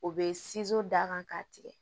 O be d'a kan k'a tigɛ